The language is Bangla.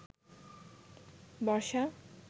বর্ষা